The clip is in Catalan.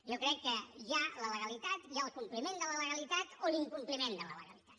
jo crec que hi ha la legalitat hi ha el compliment de la legalitat o l’incompliment de la legalitat